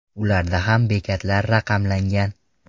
Ularda ham bekatlar raqamlangan .